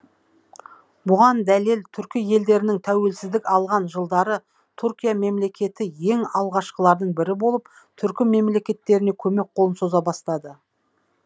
бұған дәлел түркі елдерінің тәуелсіздік алған жылдары түркия мемлекеті ең алғашқылардың бірі болып түркі мемлекеттеріне көмек қолын соза бастады